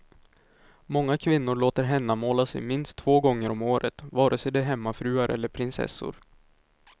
Många kvinnor låter hennamåla sig minst två gånger om året, vare sig de är hemmafruar eller prinsessor.